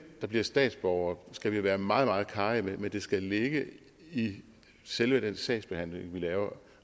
der bliver statsborgere skal vi være meget meget karrige med men det skal ligge i selve den sagsbehandling vi laver